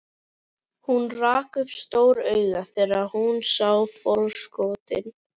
Hún rak upp stór augu þegar hún sá farkostinn.